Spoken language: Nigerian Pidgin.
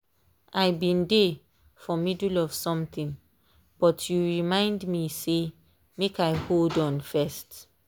i been dey for middle of something but you remind me say make i hold on first.